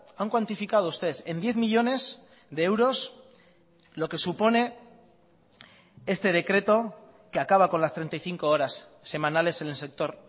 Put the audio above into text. han cuantificado ustedes en diez millónes de euros lo que supone este decreto que acaba con las treinta y cinco horas semanales en el sector